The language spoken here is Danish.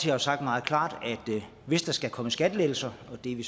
har sagt meget klart at hvis der skal komme skattelettelser og det er vi